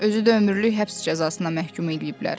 Özü də ömürlük həbs cəzasına məhkum eləyiblər.